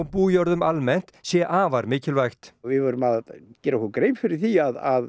bújörðum almennt sé afar mikilvægt við verðum að gera okkur grein fyrir því að